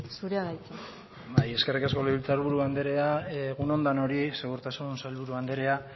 zurea da hitza bai eskerrik asko legebiltzar buru andrea egun denoi segurtasun sailburu andrea